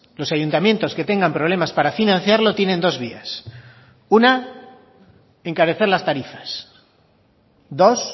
los ayuntamientos que tengan problemas para financiarlo tienen dos vías una encarecer las tarifas dos